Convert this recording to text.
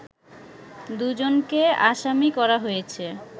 দুজনকে আসামি করা হয়েছে